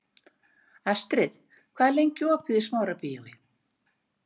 Astrid, hvað er lengi opið í Smárabíói?